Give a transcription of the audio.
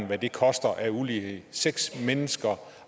hvad det koster af ulighed i seks mennesker